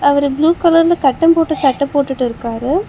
அவரு ப்ளூ கலர்ல கட்டம் போட்ட சட்ட போட்டுட்டு இருக்காரு.